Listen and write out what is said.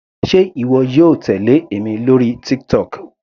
Sé ìwọ yóò tèlé èmi lórí TikTok.